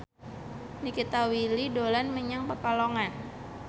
Nikita Willy dolan menyang Pekalongan